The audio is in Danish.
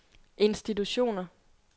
institutioner